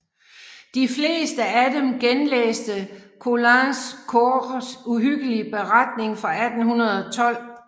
De fleste af dem genlæste Caulaincourts uhyggelige beretning fra 1812